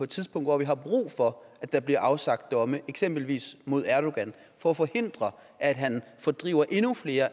tidspunkt hvor vi har brug for at der bliver afsagt domme eksempelvis mod erdogan for at forhindre at han fordriver endnu flere af